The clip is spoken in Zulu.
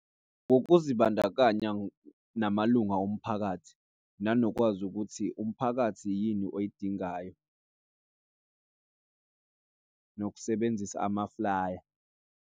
Ukuzibandakanya namalunga omphakathi, nanokwazi ukuthi umphakathi yini oyidingayo nokusebenzisa amaflaya.